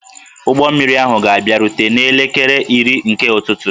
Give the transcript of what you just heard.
Ụgbọ mmiri ahụ ga-abịarute n'elekere iri nke ụtụtụ